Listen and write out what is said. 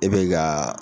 E bɛ ka